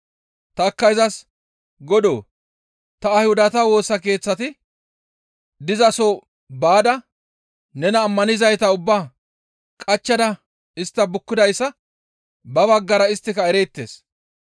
Tanikka izas, ‹Godoo! Ta Ayhudata Woosa Keeththati dizaso baada nena ammanizayta ubbaa qachchada istta bukkidayssa ba baggara isttika ereettes.